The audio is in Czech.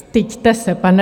Styďte se, pane...